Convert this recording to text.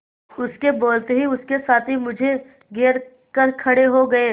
उसके बोलते ही उसके साथी मुझे घेर कर खड़े हो गए